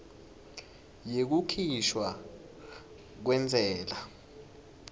yekukhishwa kwentsela